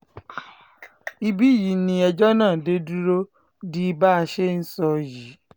ibí yìí ni ẹjọ́ náà dé dúró di bá a ṣe ń sọ yìí